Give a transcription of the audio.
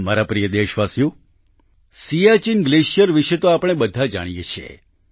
મારા પ્રિય દેશવાસીઓ સિયાચિન ગ્લેશિયર વિશે તો આપણે બધા જાણીએ છીએ